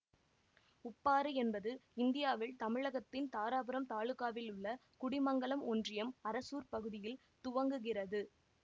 உப்பாறு என்பது இந்தியாவில் தமிழகத்தின் தாராபுரம் தாலுகாவிலுள்ள குடிமங்கலம் ஒன்றியம் அரசூர் பகுதியில் துவங்குகிறது